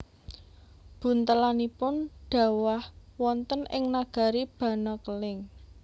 Buntelanipun dhawah wonten ing nagari Banakeling